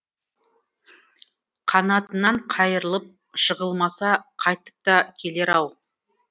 қанатынан қайырылып жығылмаса қайтып та келер ау